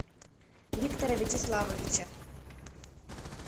виктора вячеславовича